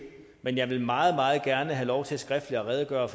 men jeg vil meget meget gerne have lov til skriftligt at redegøre